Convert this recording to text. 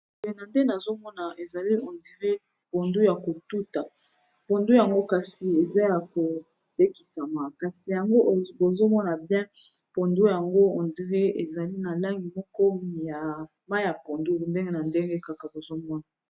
Opena nde nazomona ezali on dirait ezali pondu ya kotuta pondu yango kasi eza ya kotekisama kasi yango bozomona bien pondu yango on dirait ezali na langi moko ya mai ya pondu ndenge na ndenge kaka bozomona